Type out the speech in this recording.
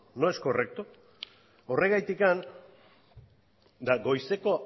no es correcto horregatik eta goizeko